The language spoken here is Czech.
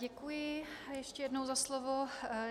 Děkuji ještě jednou za slovo.